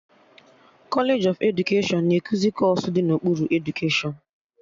Kọlej of edukeshọn na-ekuzi kọọsụ dị n'okpuru edukeshọn